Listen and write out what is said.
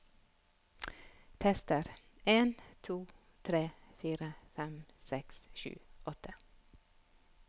Tester en to tre fire fem seks sju åtte